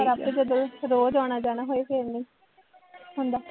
ਪਰ ਆਪਾਂ ਜਦੋਂ ਰੋਜ਼ ਆਉਣਾ ਜਾਣਾ ਹੋਏ ਫੇਰ ਨਹੀਂ ਹੁੰਦਾ